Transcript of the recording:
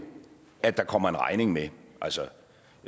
at der kommer en regning med